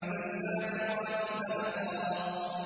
فَالسَّابِقَاتِ سَبْقًا